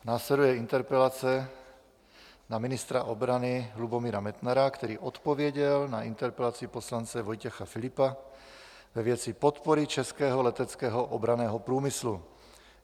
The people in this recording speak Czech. Následuje interpelace na ministra obrany Lubomíra Metnara, který odpověděl na interpelaci poslance Vojtěcha Filipa ve věci podpory Českého leteckého obranného průmyslu.